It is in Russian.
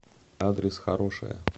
адрес хорошая